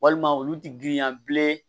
Walima olu ti girinya bilen